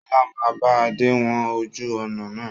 Sọlá máa bá Adé wọn ojú ọnà náà.